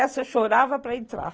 Essa eu chorava para entrar.